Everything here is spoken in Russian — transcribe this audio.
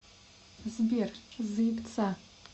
сбер заебца